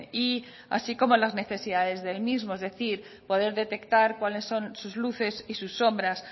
y así como las necesidades del mismo es decir poder detectar cuáles son sus luces y sus sombras